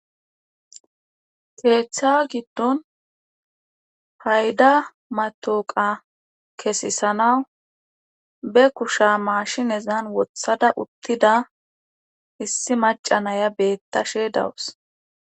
Keetha giddon payda mattooqa kesisanaw be kusha maashinezan wothada uttida issi macca naya beettáshe daws.